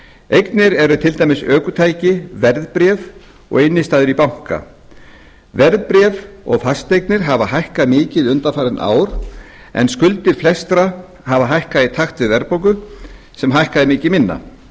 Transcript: eignir eru til dæmis ökutæki verðbréf og innstæða í banka verðbréf og fasteignir hafa hækkað mikið undanfarin ár en skuldir flestra í takt við verðbólgu sem hækkaði miklu minna þó